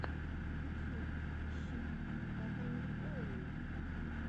ютьюб ищи татаньйоллу